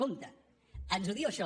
compte ens ho diu això